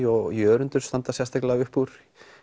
og Jörundur standa sérstaklega uppúr